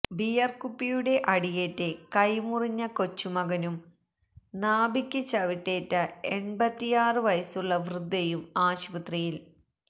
beer കുപ്പിയുടെ അടിയേറ്റ് കൈമുറിഞ്ഞ കൊച്ചുമകനും നാഭിക്ക് ചവിട്ടേറ്റ എണ്പത്തിയാറ് വയസ്സുള്ള വൃദ്ധയും ആശുപത്രിയില്